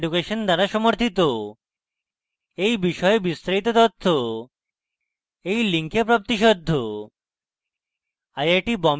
এই বিষয়ে বিস্তারিত তথ্য এই link প্রাপ্তিসাধ্য http:// spokentutorial org/nmeictintro